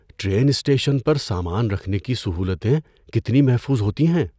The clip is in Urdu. ٹرین اسٹیشن پر سامان رکھنے کی سہولتیں کتنی محفوظ ہوتی ہیں؟